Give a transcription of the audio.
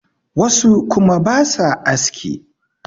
wasu kuma ba sa aski